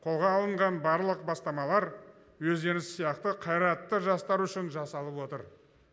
қолға алынған барлық бастамалар өздеріңіз сияқты қайратты жастар үшін жасалып отыр